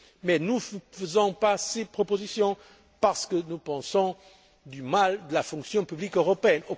Mais nous ne faisons pas ces propositions parce nous pensons du mal de la fonction publique européenne.